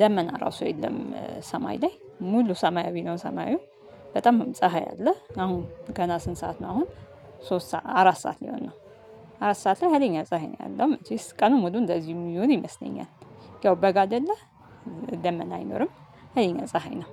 ደመና ራሱ የለም። ሰማይ ላይ ሙሉ ሰማያዊ ነው ሰማዩ። በጣም ፀሀይ አለ አሁን ገና ስንት ሰዓት ነው? አሁን ሶስት አራት ሰዓት ሊሆን ነው። አራት ሰዓት ላይ ሀይለኛ ፀሀይ ነው ያለው መቼስ ቀኑን ሙሉ እንደዚህ የሚሆን ይመስለኛል። ያው በጋ አይደለ። ደመና አይኖርም። ሀይለኛ ነው።